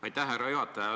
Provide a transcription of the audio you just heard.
Aitäh, härra juhataja!